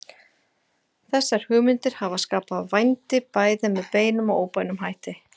Þessar hugmyndir hafa skapað vændi bæði með beinum og óbeinum hætti.